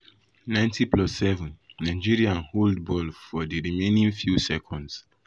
90+7 nigeria hold hold ball for di remaining few seconds.